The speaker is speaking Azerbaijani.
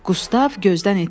Qustav gözdən itdi.